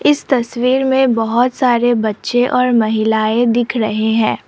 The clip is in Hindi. इस तस्वीर में बहोत सारे बच्चे और महिलाएं दिख रहे हैं।